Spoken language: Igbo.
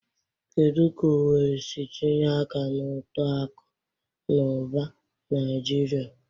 Kedu ka Owerri si tinye aka na uto akụ na ụba Naijiria?